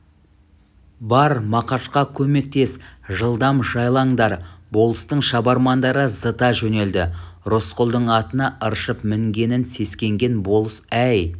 бар мақашқа көмектес жылдам жайлаңдар болыстың шабармандары зыта жөнелді рысқұлдың атына ыршып мінгенінен сескенген болыс әй